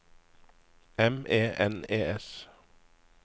M E N E S